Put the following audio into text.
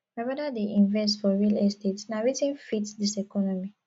my broda dey invest for real estate na wetin fit dis economy